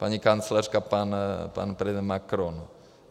Paní kancléřka, pan prezident Macron.